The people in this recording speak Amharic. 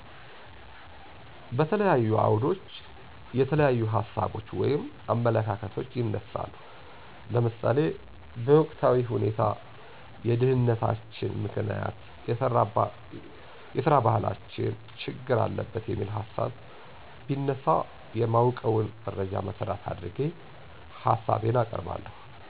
በተለያዩ አዉደች የተለያዪሀሳቦች (አመለካከቶች)ይነሳሉ ለምሳሌ በወቅታዊሁኔታ የድህነተችን ምከንያት የሰራባህላችን ችግር አለበት በሚል ሀሳብ ቢነሳ የማወቀዉን መረጃን መሠረት አድርጌ ሀሳቤን አቀርባለሁ።